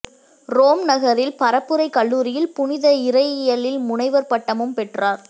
Rome நகரில் பரப்புரைக் கல்லூரியில் புனித இறையியலில் முனைவர் பட்டமும் பெற்றார்